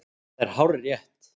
Það er hárrétt!